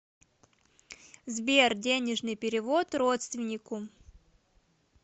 сбер денежный перевод родственнику